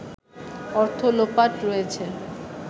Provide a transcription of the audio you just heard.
অর্থ লোপাট করেছে